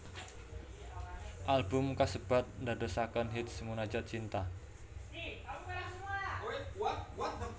Album kasebat ndadosaken hits Munajat Cinta